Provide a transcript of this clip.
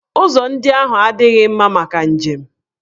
Ụzọ ndị ahụ adịghị mma maka njem.